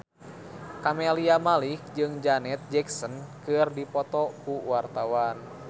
Camelia Malik jeung Janet Jackson keur dipoto ku wartawan